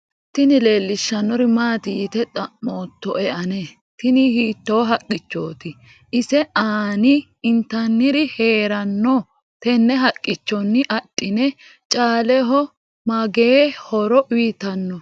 tini leellishshannori maati yite xa'moottoe ane ? tini hiitto haqqichoti ise aanii intanniri heerannno tenne haqqichonni adhine? caaleho magee horo uyitannoo ?